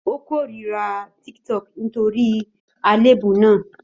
Ó kórìíra TikTok nítorí àléébù náà.